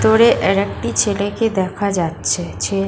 দূরে আ্যারেকটি ছেলেকে দেখা যাচ্ছে ছে--